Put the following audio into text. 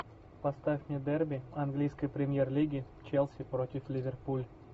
поставь мне дерби английской премьер лиги челси против ливерпуль